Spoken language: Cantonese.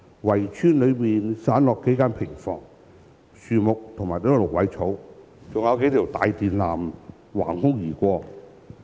圍村裏散落數間平房，樹木和蘆葦草，還有數條大電纜橫空而過。